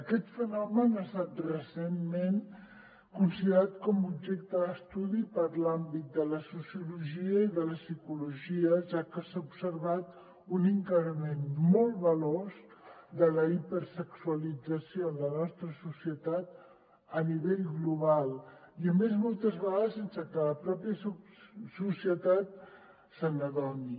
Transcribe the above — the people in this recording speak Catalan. aquest fenomen ha estat recentment considerat com a objecte d’estudi per l’àmbit de la sociologia i de la psicologia ja que s’ha observat un increment molt veloç de la hipersexualització en la nostra societat a nivell global i a més moltes vegades sense que la pròpia societat se n’adoni